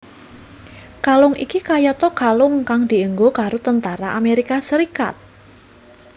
Kalung iki kayata kalung kang dienggo karo tentara Amérika Serikat